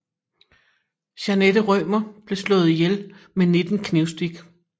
Jeanette Rømer blev slået ihjel med 19 knivstik